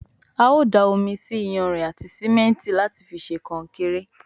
ào dá omí sí iyanrìn àti simẹnti láti fí ṣe konkéré.